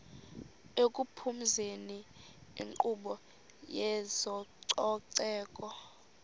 ekuphumezeni inkqubo yezococeko